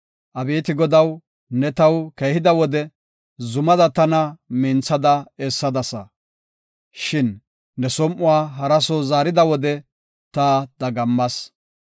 Abeeti Godaw, ne taw keehida wode, zumada tana minthada essadasa. Shin ne som7uwa hara soo zaarida wode, ta dagammas.